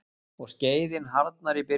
Og skreiðin harðnar í byrgjum.